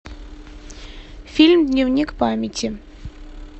фильм дневник памяти